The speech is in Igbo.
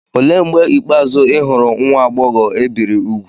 Olee mgbe ikpeazụ ị hụrụ nwa agbọghọ e biri úgwù?